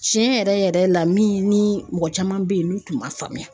Tiɲɛ yɛrɛ yɛrɛ la min ni mɔgɔ caman bɛ yen n'u tun ma faamuya.